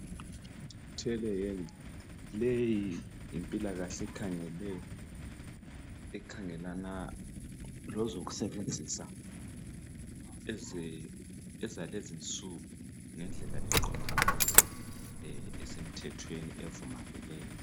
Telehealth le yimpilakahle ekhangelana lezokusebenzisa ezalezi nsuku ngendlela eqondile esemthethweni evumakeleyo.